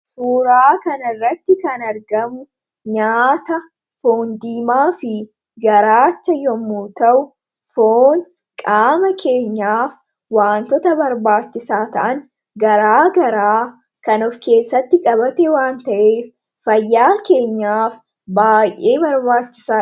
Suuraa kanarratti kan argamu nyaata, foon diimaa fi garaachaa yommuu ta'u, foon qaama keenyaaf waantota barbaachisaa ta'an garaagaraa kan of keessatti qabate waan ta'eef fayyaa keenyaaf baay'ee barbaachisaa dha.